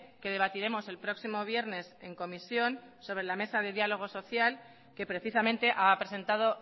que debatiremos el próximo viernes en comisión sobre la mesa de diálogo social que precisamente ha presentado